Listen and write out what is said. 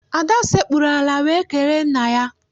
Ada sekpuru ala wee kelee nna ya.